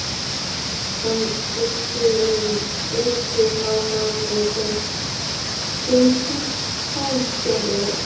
Hann æddi um, ruddist áfram, leitaði, fylltist hálfgerðu æði.